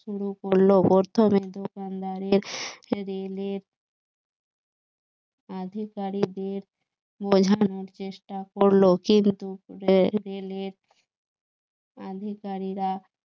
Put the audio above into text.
শুরু করলো দোকানদারের আধিকারিকদের বোঝানোর চেষ্টা করলো কিন্তু রেলের আধিকারিকরা